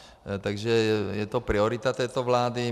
Takže je to priorita této vlády.